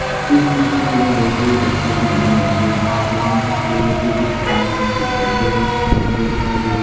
इस सीट में हमें बहुत सारे पत्ते के बने गमले दिखाई दे रहे हैं इस स्टेबल में कुछ काले रंग के डिब्बों में गमले दिखाई दे रहे हैं।